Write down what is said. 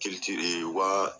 u ka